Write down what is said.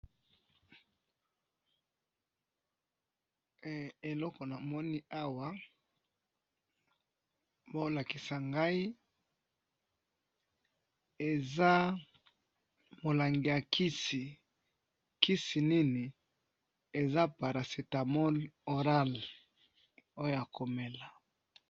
he eloko namoni awa bazolakisa ngayi eza mulangi ya kisi, kisi nini eza paracetamol orange oyo ya komela.